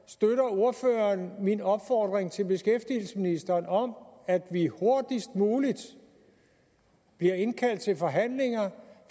ordføreren min opfordring til beskæftigelsesministeren om at vi hurtigst muligt bliver indkaldt til forhandlinger